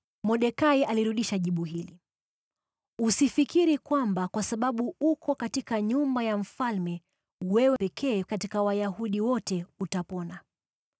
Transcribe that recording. Mordekai alirudisha jibu hili: “Usifikiri kwamba kwa sababu uko katika nyumba ya mfalme wewe pekee katika Wayahudi wote utapona.